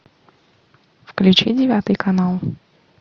включи девятый канал